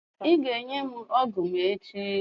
Ị ga-enye m ọgwụ m echi.